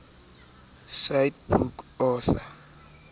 cite book author